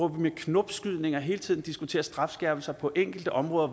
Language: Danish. med knopskydninger hele tiden diskuterer strafskærpelser på enkelte områder